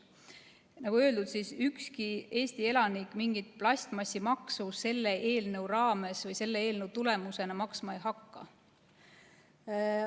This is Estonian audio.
Nagu öeldud, ükski Eesti elanik mingit plastmassimaksu selle eelnõu raames või selle tulemusena maksma ei hakka.